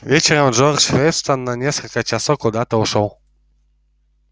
вечером джордж вестон на несколько часов куда-то ушёл